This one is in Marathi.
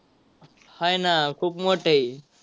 आहे ना खूप मोठी.